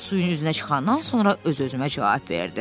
Suyun üzünə çıxandan sonra öz-özümə cavab verdim.